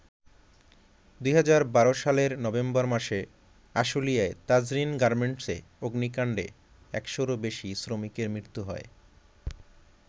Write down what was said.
২০১২ সালের নভেম্বর মাসে আশুলিয়ায় তাজরীন গার্মেন্টসে অগ্নিকাণ্ডে একশোরও বেশি শ্রমিকের মৃত্যু হয়।